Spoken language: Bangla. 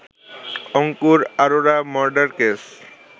Ankur Arora murder case